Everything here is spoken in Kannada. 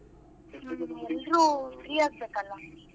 ಎಲ್ಲ್ರು free ಆಗ್ಬೇಕಲ್ಲ?